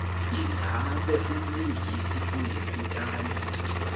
ingabe umlingisi oyikutani